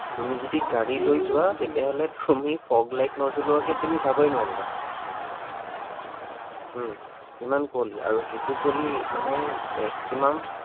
তুমি যদি গাড়ী লৈ যোৱা তেতিয়া হলে তুমি fog light নজ্বলোৱাকে তুমি যাবই নোৱাৰিবা। উম ইমান কুঁৱলি আৰু সেইটো কুঁৱলি মানে maximum